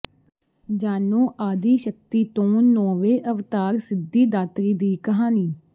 ਜਾਣੋ ਆਦਿ ਸ਼ਕਤੀ ਤੋਂ ਨੌਵੇਂ ਅਵਤਾਰ ਸਿੱਧੀਦਾਤਰੀ ਦੀ ਕਹਾਣੀ